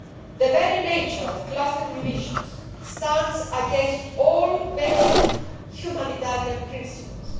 The very nature of cluster munitions stands against all basic humanitarian principles.